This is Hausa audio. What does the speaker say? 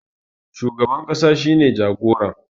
shugaban kasa shi ne jagoran